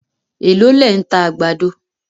Èló lẹ̀ ń ta àgbàdo